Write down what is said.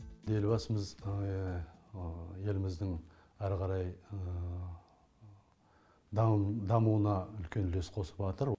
елбасымыз еліміздің әрі қарай дамуына үлкен үлес қосыватыр